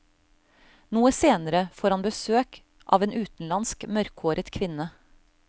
Noe senere får han besøk av en utenlandsk, mørkhåret kvinne.